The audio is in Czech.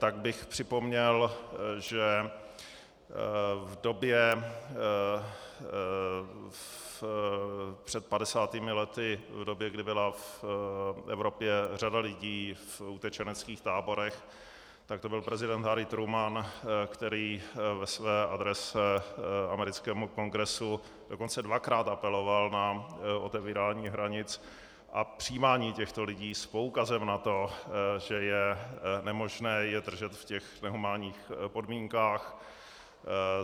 Tak bych připomněl, že v době před 50 lety, v době, kdy byla v Evropě řada lidí v utečeneckých táborech, tak to byl prezident Harry Truman, který ve své adrese americkému Kongresu dokonce dvakrát apeloval na otevírání hranic a přijímání těchto lidí s poukazem na to, že je nemožné je držet v těch nehumánních podmínkách.